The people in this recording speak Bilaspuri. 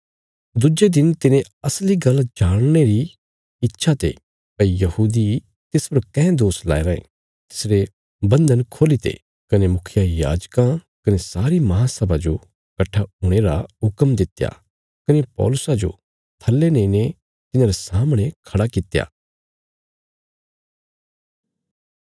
दुज्जे दिन तिने असली गल्ल जाणने रिया इच्छा ते भई यहूदी तिस पर काँह दोष लाया रायें तिसरे बन्धन खोल्लीते कने मुखियायाजकां कने सारी महासभा जो कट्ठा हुणे रा हुक्म दित्या कने पौलुसा जो थल्ले नेईने तिन्हांरे सामणे खड़ा करित्या